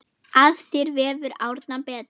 Að sér vefur Árna betur